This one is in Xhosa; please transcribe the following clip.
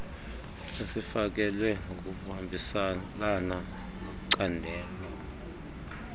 esifakelwe ngokuhambiselana necandelo